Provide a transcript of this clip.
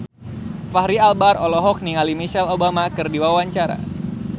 Fachri Albar olohok ningali Michelle Obama keur diwawancara